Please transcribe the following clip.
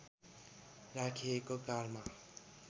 राखिएको कारमा